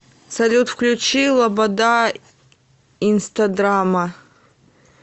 салют включи лобода инстадрама